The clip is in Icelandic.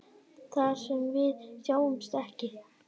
Þar sem við sjáumst ekki.